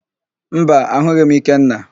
Mba, ahụghị m Ikenna.